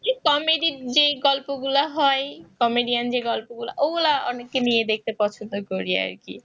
comedy যে গল্পগুলা হয় comedian যে গল্পগুলা ওগুলো অনেককে নিয়ে দেখতে পছন্দ করি আর কি